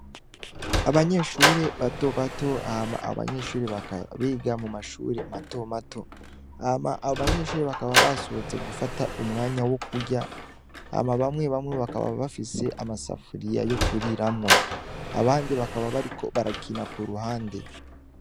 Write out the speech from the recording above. Abanyeshure bato bato hama a banyeshuri ba biga mu mashure mato mato, hama abo banyeshure bakaba basohotse gufata umwanya wo kurya, hama bamwe bamwe bakaba bafise amasafuriya yo kuriramwo, abandi bakaba bariko barakina ku ruhande.